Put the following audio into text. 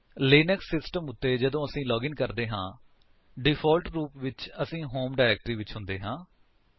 Linux system ਉੱਤੇ ਜਦੋਂ ਅਸੀ ਲਾਗਿਨ ਕਰਦੇ ਹਾਂ ਡਿਫਾਲਟ ਰੂਪ ਵਿਚ ਅਸੀਂ ਹੋਮ ਡਾਇਰੇਕਟਰੀ ਵਿੱਚ ਹੁੰਦੇ ਹਾਂ